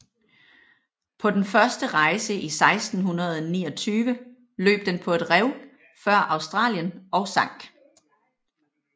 På den første rejse i 1629 løb den på et rev før Australien og sank